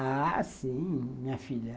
Ah, sim, minha filha.